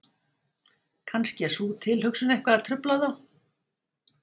Kannski er sú tilhugsun eitthvað að trufla þá?